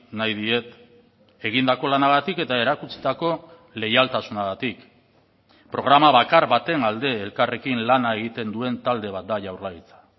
nahi diet egindako lanagatik eta erakutsitako leialtasunagatik programa bakar baten alde elkarrekin lana egiten duen talde bat da jaurlaritza